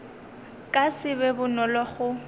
ka se be bonolo go